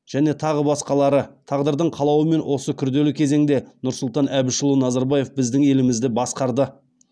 және тағы басқалары тағдырдың қалауымен осы күрделі кезеңде нұрсұлтан әбішұлы назарбаев біздің елімізді басқарды